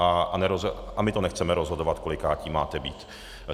A my to nechceme rozhodovat, kolikátí máte být.